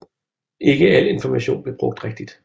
Ikke al information blev brugt rigtigt